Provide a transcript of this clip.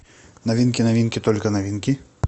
новинки новинки только новинки